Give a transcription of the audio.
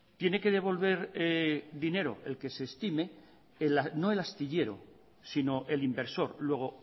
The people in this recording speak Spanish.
tiene que devolver dinero el que se estime no el astillero sino el inversor luego